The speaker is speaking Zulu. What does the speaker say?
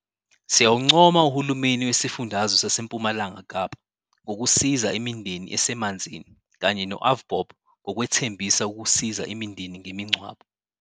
Siyawuncoma uhulumeni wesifundazwe saseMpumalanga Kapa ngokusiza imindeni esemanzini, kanye no-AVBOB ngokwethembisa ukusiza imindeni ngemingcwabo.